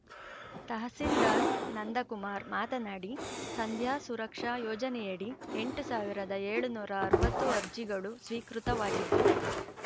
ತಹಸೀಲ್ದಾರ್‌ ನಂದಕುಮಾರ್‌ ಮಾತನಾಡಿ ಸಂಧ್ಯಾ ಸುರಕ್ಷಾ ಯೋಜನೆಯಡಿ ಎಂಟ್ ಸಾವಿರದ ಏಳುನೂರ ಅರವತ್ತು ಅರ್ಜಿಗಳು ಸ್ವೀಕೃತವಾಗಿದ್ದು